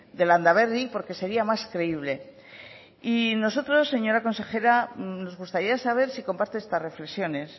de landaberri porque sería más creíble y nosotros señora consejera nos gustaría saber si comparte estas reflexiones